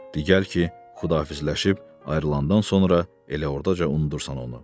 de gəl ki, Xudafizləşib ayrılandan sonra elə ordaca unudursan onu.